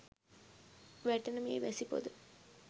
වැටෙන මේ වැසි පොද